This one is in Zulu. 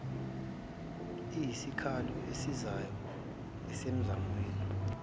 iyisikhalo esisizayo emizamweni